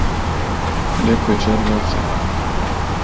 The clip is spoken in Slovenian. Lep večer za vse.